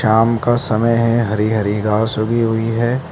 शाम का समय है हरी हरी घास ऊगी हुई है।